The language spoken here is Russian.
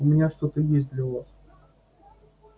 у меня что-то есть для вас